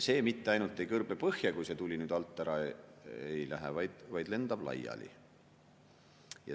See mitte ainult ei kõrbe põhja, kui tuli nüüd alt ära ei lähe, vaid lendab laiali.